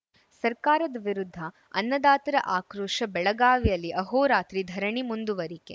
ಸರ್ಕಾರದ ವಿರುದ್ಧ ಅನ್ನದಾತರ ಆಕ್ರೋಶ ಬೆಳಗಾವಿಯಲ್ಲಿ ಅಹೋರಾತ್ರಿ ಧರಣಿ ಮುಂದುವರಿಕೆ